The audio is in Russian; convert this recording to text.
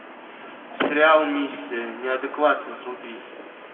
сериал миссия неадекватна вруби